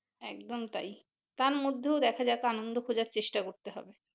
একদম তাই তার মধ্যেও দেখা যাক আনন্দ খোজার চেষ্টা করতে হবে